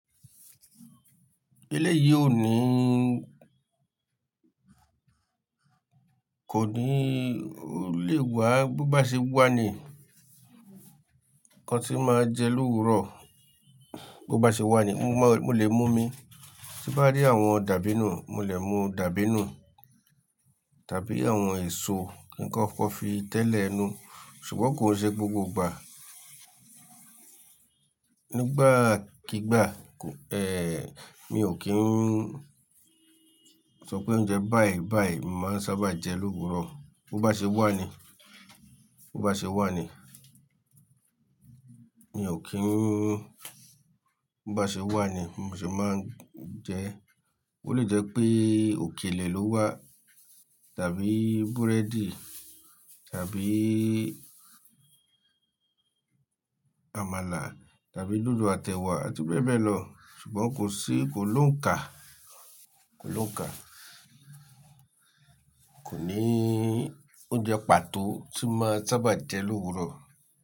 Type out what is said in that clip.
Eléyìí ò ní, kò ní, ó lè wà, bó bá ṣe wà ni, nnkan tí máa jẹ lówuro, bó bá ṣe wà ni mo lè mú omi. Tí n bá rí àwọn dàbínù, mo lè mú dàbínù tàbí àwọn èso kí n kokó fi tẹ́lẹ̀ inu, ṣùgbọ́n kò ṣe gbogbo ìgbà. Nígbàkígbà, mi ò kí ń sọ pé oúnjẹ báì báì ni mo màá ń sábà jẹ lówuro Bo bá ṣe wà ni, bo bá ṣe wà ni, mi ò kí n, bo bá ṣe wà ni mo sì máa ń jẹ ẹ́. Ó lè jẹ́ pé òkèlè lo wà tàbí búrẹ́dì tàbí àmàlà tàbí dodo àti ẹ̀wà àti bẹ́ẹ̀ bẹ́ẹ̀ lọ ṣùgbọ́n kò sí, kò lóhuń kà, kò lóhuń kà. Kò ní oúnjẹ pàtó tí màá n sábà jẹ lówuro.